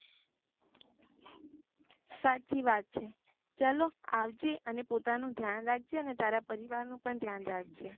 સાચી વાત છે ચાલો આવજે અને પોતાનું ધ્યાન અને તારા પરિવાર નું પણ ધ્યાન રાખજે